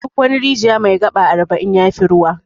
Duk wani rijiya mai 'gaba' arba'in yafi ruwa.